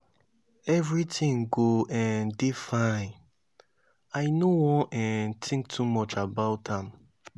everything go um dey fine. i know wan um think too much about am